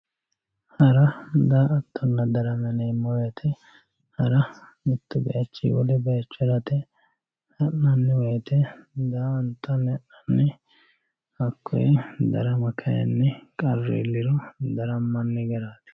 Hara, daratonna, darrama yineemo woyite, hara mitu bayichinni wole bayicho harate, ha'nanni woyite daa'antanni ha'nanni hakoye darama kayinni qaru iilliro daramanni garatti.